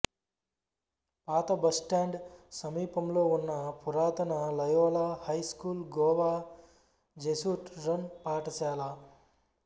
పాత bus stand సమీపంలో ఉన్న పురాతన Loyola high school Goa Jesuit run పాఠశాల